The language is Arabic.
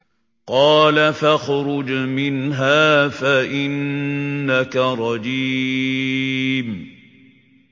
قَالَ فَاخْرُجْ مِنْهَا فَإِنَّكَ رَجِيمٌ